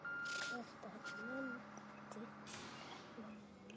Kata nennti ekki að læra.